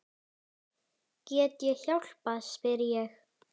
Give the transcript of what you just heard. Get ég hjálpað spyr ég.